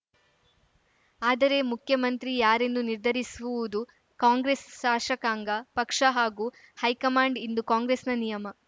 ಆದರೆ ಮುಖ್ಯಮಂತ್ರಿ ಯಾರೆಂದು ನಿರ್ಧರಿಸುವುದು ಕಾಂಗ್ರೆಸ್‌ ಶಾಸಕಾಂಗ ಪಕ್ಷ ಹಾಗೂ ಹೈಕಮಾಂಡ್‌ ಇಂದು ಕಾಂಗ್ರೆಸ್‌ನ ನಿಯಮ